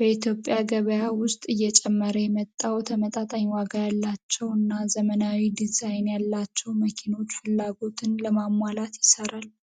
በኢትዮጵያ ገበያ ውስጥ እየጨመረ የመጣው ተመጣጣኝ ዋጋ ያላቸው እና ዘመናዊ ዲዛይን ያላቸው መኪኖችን ፍላጎት ለማሟላት ይሰራል።